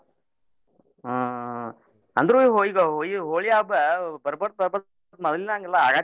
ಹ್ಮ್ ಅಂದ್ರು ಈಗ್ ಇವ್ ಹೋ~ ಹೋಳಿ ಹಬ್ಬ ಬರ್ ಬರ್ತ್ ಬರ್ ಬರ್ತ್ ಮೋದ್ಲಿನ್ ಹಂಗೆಲ್ಲ ಆಗಾಕಿಲ್ರೀ.